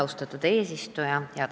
Austatud eesistuja!